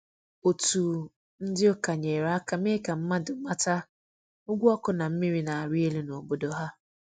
Otu ndị ụka nyere aka mee ka mmadụ mata ụgwọ ọkụ na mmiri na-arị elu n’obodo ha.